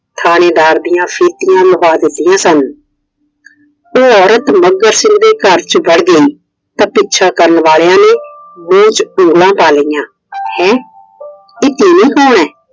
ਥਾਣੇਦਾਰ ਦੀਆ ਫੀਤੀਆਂ ਲਵਾ ਦਿੱਤੀਆਂ ਸਨ। ਉਹ ਔਰਤ ਮੱਘਰ ਸਿੰਘ ਦੇ ਘਰ ਚ ਵੜ ਗਈ। ਤਾਂ ਪਿੱਛਾ ਕਰਨ ਵਾਲਿਆਂ ਨੇ ਮੂਹ ਚ ਉਂਗਲਾਂ ਪਾ ਲਈਆਂ। ਹੈ ਇਹ ਤੀਵੀਂ ਕੌਣ ਏ?